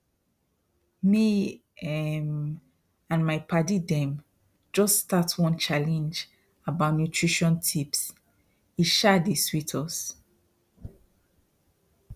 me um and my padi them just start one challenge about nutrition tipse um dey sweet us